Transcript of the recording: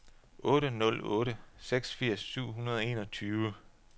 otte nul otte seks firs syv hundrede og enogtyve